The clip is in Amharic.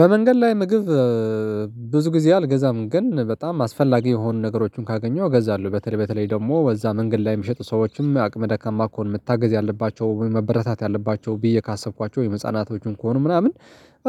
በመንገድ ላይ ምግብ ብዙ ጊዜ አልገዛም ግን በጣም አስፈላጊ የሆኑ ነገሮችን ካገኘው ገዛለሁ። በተለይ በተለይ ደግሞ ወዛ መንገድ ላይ የሚሸጡ ሰዎችም አቅመ ደካማ ከሆነ መታገዝ ያለባቸው መበረታታት ያለባቸው ብዬ ካሰብኳቸው የህፃናቶቹን ከሆኑ ምናምን